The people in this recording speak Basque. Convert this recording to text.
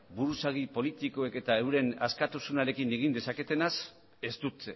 buruzagi politikoek eta euren askatasunarekin egin dezaketenaz ez dut